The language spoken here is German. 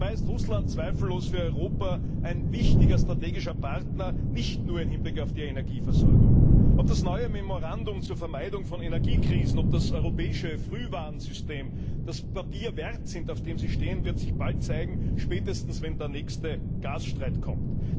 Dabei ist Russland zweifellos für Europa ein wichtiger strategischer Partner, nicht nur im Hinblick auf die Energieversorgung. Ob das neue Memorandum zur Vermeidung von Energiekrisen und das europäische Frühwarnsystem das Papier wert sind, auf dem sie gedruckt sind, wird sich bald zeigen, spätestens dann, wenn der nächste Gasstreit kommt.